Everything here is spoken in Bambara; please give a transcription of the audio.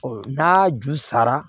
n'a ju sara